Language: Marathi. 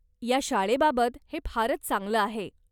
या शाळेबाबत हे फारच चांगलं आहे.